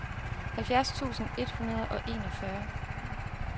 halvfjerds tusind et hundrede og enogfyrre